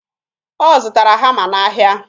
Ọ zụtara hama n'ahịa